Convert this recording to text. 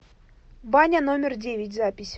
баня номер девять запись